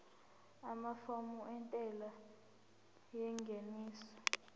amafomu entela yengeniso